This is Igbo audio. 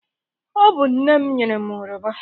Ọ bụ nne m nyere m oroma.